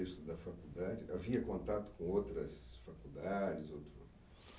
da faculdade? Havia contato com outras faculdades outro?